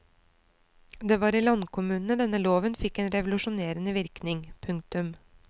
Det var i landkommunene denne loven fikk en revolusjonerende virkning. punktum